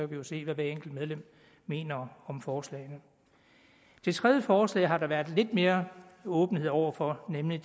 vi jo se hvad hvert enkelt medlem mener om forslagene det tredje forslag har der været lidt mere åbenhed over for nemlig